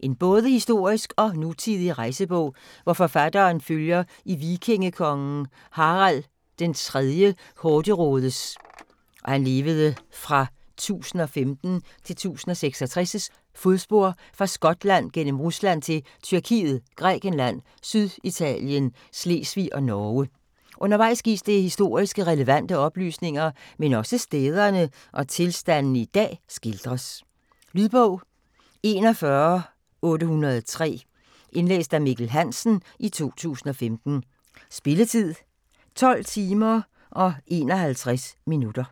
En både historisk og nutidig rejsebog, hvor forfatteren følger i vikingekongen Harald 3. Hårderådes (1015-1066) fodspor fra Skotland gennem Rusland til Tyrkiet, Grækenland, Syditalien, Slesvig og Norge. Undervejs gives der historiske, relevante oplysninger, men også stederne og tilstandene i dag skildres. Lydbog 41803 Indlæst af Mikkel Hansen, 2015. Spilletid: 12 timer, 51 minutter.